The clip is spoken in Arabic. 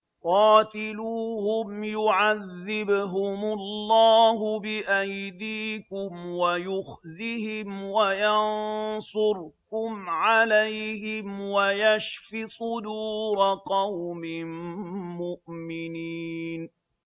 قَاتِلُوهُمْ يُعَذِّبْهُمُ اللَّهُ بِأَيْدِيكُمْ وَيُخْزِهِمْ وَيَنصُرْكُمْ عَلَيْهِمْ وَيَشْفِ صُدُورَ قَوْمٍ مُّؤْمِنِينَ